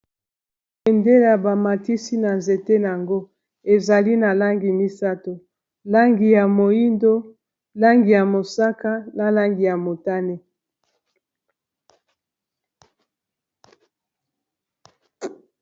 Bendela bamatisi na nzete yango ezali na langi misato langi ya moindo langi ya mosaka na langi ya motane.